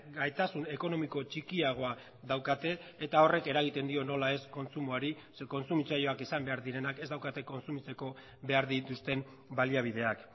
gaitasun ekonomiko txikiagoa daukate eta horrek eragiten dio nola ez kontsumoari zeren kontsumitzaileak izan behar direnak ez daukate kontsumitzeko behar dituzten baliabideak